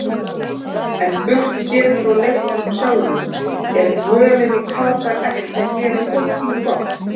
En burtséð frá leiknum sjálfum, er dvölin í Katar ekki að gera hópnum gott?